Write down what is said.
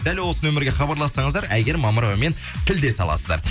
дәл осы номерге хабарлассаңыздар әйгерім мамыровамен тілдесе аласыздар